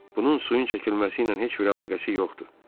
Bunun suyun çəkilməsiylə heç bir əlaqəsi yoxdur.